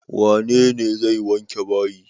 Wane ne zai wanke bayi?